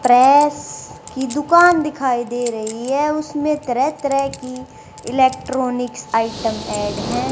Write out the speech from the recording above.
Press की दुकान दिखाई दे रही हैं उसमे तरह तरह की इलेक्ट्रॉनिक्स आइटम ऐड है।